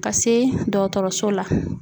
Ka se dɔgɔtɔrɔso la